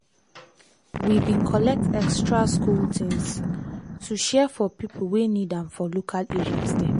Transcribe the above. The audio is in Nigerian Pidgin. we bin collect extra school things to share for pipo wey need am for local areas dem.